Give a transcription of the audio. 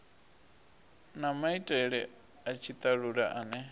na maitele a tshitalula ane